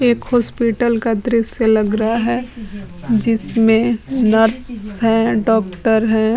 एक हॉस्पिटल का दृश्य लग रहा है जिसमे नर्स हैं डॉक्टर हैं।